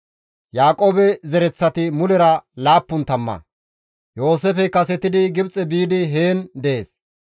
Yaaqoobe zereththati mulera laappun tamma; Yooseefey kasetidi Gibxe biidi heen dees.